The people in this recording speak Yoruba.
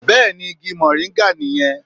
Bẹ́ẹ̀ni Igi Mòríngà nì yẹn